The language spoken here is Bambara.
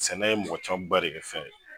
Sɛnɛ ye mɔgɔ camanba de kɛ fɛn ye.